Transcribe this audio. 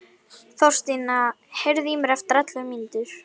Þorsteina, heyrðu í mér eftir ellefu mínútur.